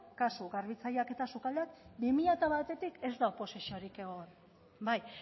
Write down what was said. kasu garbitzaileak eta sukaldea bi mila batetik ez da oposiziorik egon bai